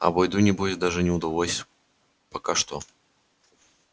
а бойду небось даже не удалось пока что